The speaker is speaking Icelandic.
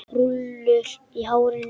Rúllur í hárinu.